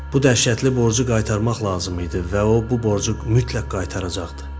Bu dəhşətli borcu qaytarmaq lazım idi və o bu borcu mütləq qaytaracaqdı.